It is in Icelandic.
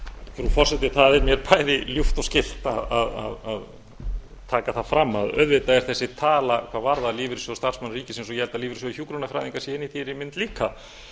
frú forseti það er mjög ljúft og skylt að taka það fram að auðvitað eru þessi tala hvað varðar lífeyrissjóð starfsmanna ríkisins og ég held að lífeyrissjóð hjúkrunarfræðinga sé inni í þeirri mynd líka